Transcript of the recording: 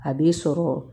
A b'i sɔrɔ